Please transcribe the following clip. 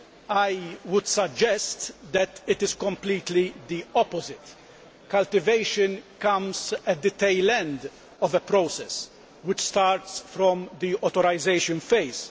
I would suggest that it is completely the opposite. Cultivation comes at the tail end of a process which starts from the authorisation phase.